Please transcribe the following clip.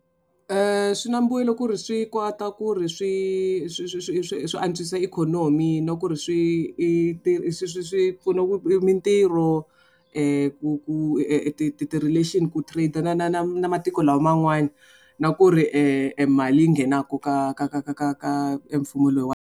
Swi na mbuyelo ku ri swi kota ku ri swi swi swi swi swi swi antswisa ikhonomi na ku ri swi i swi swi swi pfuna mintirho ku ku ti ti ti relation ku trade na na na na matiko lawa man'wani na ku ri e mali leyi nghenaka ka ka ka ka ka ka mfumo loyiwani.